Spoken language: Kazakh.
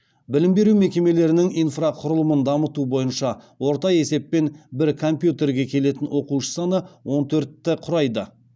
білім беру мекемелерінің инфрақұрылымын дамыту бойынша орта есеппен бір компьютерге келетін оқушы саны он төртті құрайды